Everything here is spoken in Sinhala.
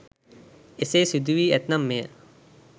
එසේ සිදු වී ඇත්නම් මෙය